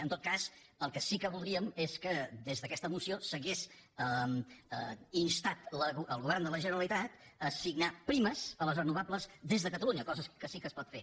en tot cas el que sí que voldríem és que des d’aquesta moció s’hagués instat el govern de la generalitat a signar primes a les renovables des de catalunya cosa que sí que es pot fer